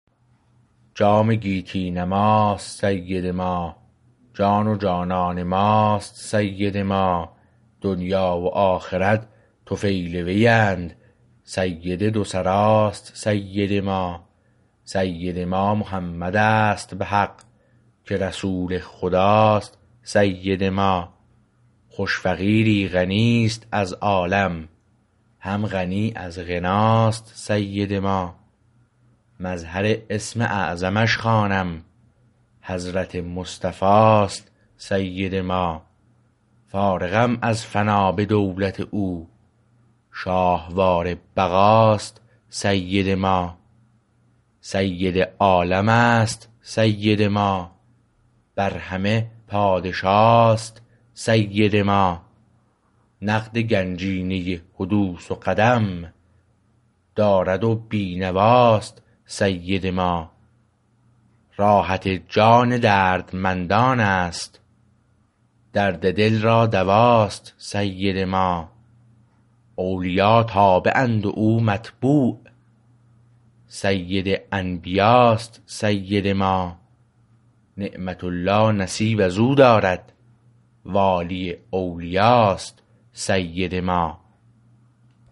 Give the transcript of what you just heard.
جام گیتی نماست سید ما جان و جانان ماست سید ما دنیی و آخرت طفیل وی اند سید دو سراست سید ما سید ما محمد است به حق که رسول خداست سید ما خوش فقیری غنیست از عالم هم غنی از غناست سید ما مظهر اسم اعظمش خوانم حضرت مصطفی است سید ما فارغم از فنا به دولت او شاهوار بقاست سید ما سید عالمست سید ما بر همه پادشاست سید ما نقد گنجینه حدوث و قدم دارد و بینواست سید ما راحت جان دردمندانست درد دل را دواست سید ما اولیا تابعند و او متبوع سید انبیاست سید ما نعمت الله نصیب از او دارد والی اولیاست سید ما